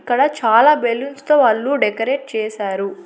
ఇక్కడ చాలా బెలూన్స్ తో పాటు డెకరేట్ చేసారు.